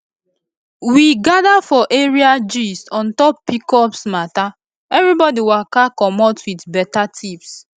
we gather for area gist on top pcos matter everybody waka commot with better tips